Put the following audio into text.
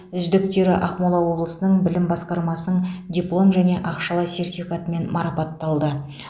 үздіктері ақмола облысының білім басқармасының диплом және ақшалай сертификатымен марапатталды